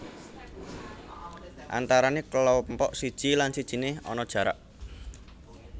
Antarané kelompok siji lan sijine ana jarak